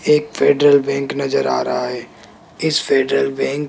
एक Federal Bank नजर आ रहा है इस फेडरल बैंक --